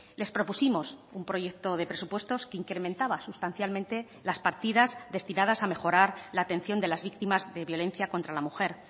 les propusimos un proyecto de presupuestos que incrementaba sustancialmente las partidas destinadas a mejorar la atención de las víctimas de violencia contra la mujer